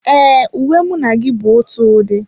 E, uwe mụ na gị bu ótụ ụdị